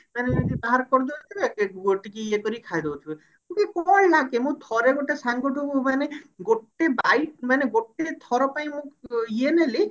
ମାନେ ଯେମତି ଗୋଟିକିଆ ଇଏ କରିକି ଖାଇ ଦଉଥିବେ କଣ ଲାଗେ ମୁଁ ଥରେ ଗୋଟେ ସାଙ୍ଗଠୁ ମାନେ ଗୋଟେ bite ମାନେ ଗୋଟେ ଥର ପାଇଁ ମୁଁ ଇଏ ନେଲି